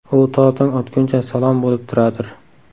U to tong otguncha salom bo‘lib turadir.